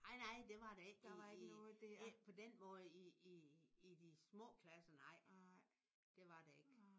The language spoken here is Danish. Nej nej det var der ikke i i ikke på den måde i i i i de små klasser nej. Det var der ikke